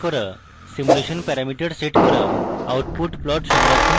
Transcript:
simulation parameter set করা output plot সংরক্ষণ করা